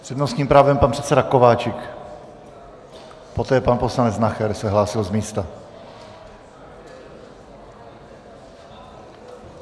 S přednostním právem pan předseda Kováčik, poté pan poslanec Nacher se hlásil z místa.